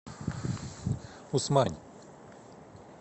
усмань